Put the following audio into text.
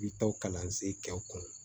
I bi taa kalansen kɛ u kun